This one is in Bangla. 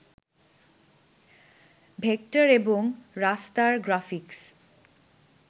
ভেক্টর এবং রাস্টার গ্রাফিক্স